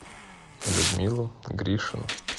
людмилу гришину